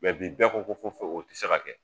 Mɛ bɛɛ ko ko fɔ fo o tɛ se ka kɛ.